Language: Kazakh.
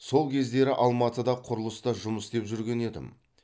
сол кездері алматыда құрылыста жұмыс істеп жүрген едім